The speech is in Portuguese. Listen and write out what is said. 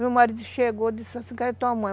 Meu marido chegou e disse assim, cadê a tua mãe?